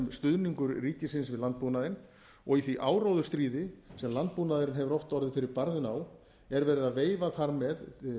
stuðningur ríkisins við landbúnaðinn og í því áróðursstríði sem landbúnaðurinn hefur oft orðið fyrir barðinu á er verið að veifa þar með